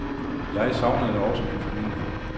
Jeg savnede også min familie.